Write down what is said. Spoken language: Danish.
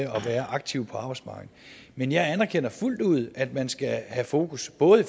at være aktive på arbejdsmarkedet men jeg anerkender fuldt ud at man skal have fokus både